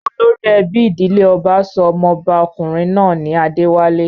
Olórí ẹbí ìdílé ọba sọ ọmọba-kùnrin náà ní 'Adéwálé'.